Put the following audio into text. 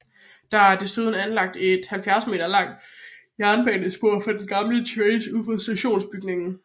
Der er desuden anlagt et 70 meter langt jernbanespor på den gamle tracé ud for stationsbygningen